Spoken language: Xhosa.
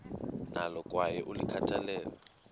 nalo kwaye ulikhathalele